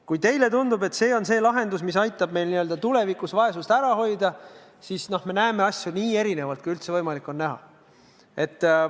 Kui teile tundub, et see on lahendus, mis aitab meil tulevikus vaesust ära hoida, siis näeme me asju nii erinevalt, kui üldse on võimalik näha.